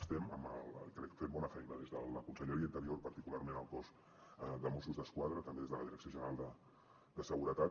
estem crec fent bona feina des de la conselleria d’interior particularment el cos de mossos d’esquadra també des de la direcció general de seguretat